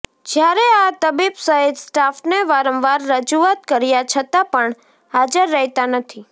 જ્યારે આ તબીબ સહિત સ્ટાફને વારંવાર રજૂઆત કર્યા છતાં પણ હાજર રહેતા નથી